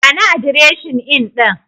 Bani adireshin Inn ɗin.